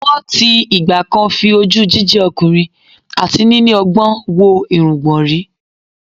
Wọ́n ti ìgbà-kan fi ojú jíjẹ́ ọkùnrin àti níní ọgbọ́n wo irungbọ̀ rí